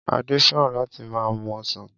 Adé fẹ́ràn láti máa mu ọsàn.